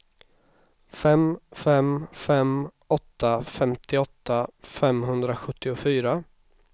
fem fem fem åtta femtioåtta femhundrasjuttiofyra